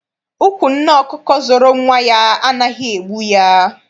Ụkwụ nne ọkụkọ zọrọ nwa ya anaghị egbu ya.